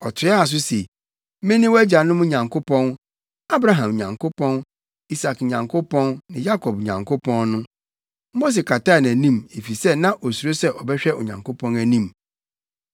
Ɔtoaa so se, “Mene wʼagyanom Nyankopɔn, Abraham Nyankopɔn, Isak Nyankopɔn ne Yakob Nyankopɔn no.” Mose kataa nʼanim, efisɛ na osuro sɛ ɔbɛhwɛ Onyankopɔn anim.